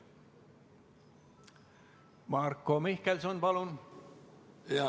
Marko Mihkelson, palun!